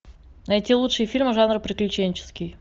найти лучшие фильмы жанра приключенческий